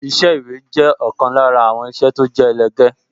Iṣẹ́ ìwé jẹ́ ọ̀kan lára àwọn iṣẹ́ tó jẹ́ ẹlẹgẹ́